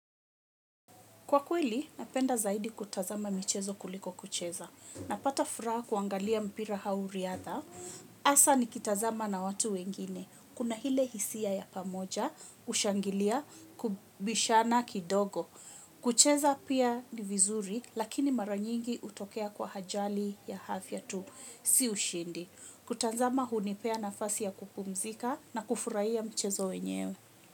Kwa kweli, napenda zaidi kutazama mchezo kuliko kucheza. Napata furaha kuangalia mpira hau riatha. Asa nikitazama na watu wengine. Kuna hile hisia ya pamoja, ushangilia, kubishana kidogo. Kucheza pia ni vizuri, lakini maranyingi hutokea kwa hajali ya afya tu. Si ushindi. Kutazama hunipea nafasi ya kupumzika na kufurahia mchezo wenyewe.